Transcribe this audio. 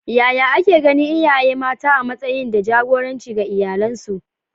Yaya ake ganin iyaye mata a matsayin da jagoranci ga iyalansu?